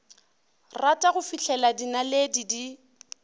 rata go fihlela dinaledi di